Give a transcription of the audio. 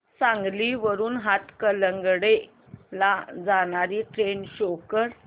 सांगली वरून हातकणंगले ला जाणारी ट्रेन शो कर